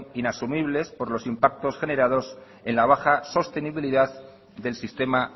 inasumible por los impactos generados en la baja sostenibilidad del sistema